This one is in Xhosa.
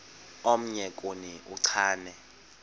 omnye kuni uchane